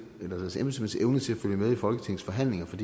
eller deres embedsmænds evne til at følge med i folketingets forhandlinger for